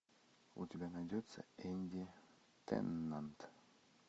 у тебя найдется энди теннант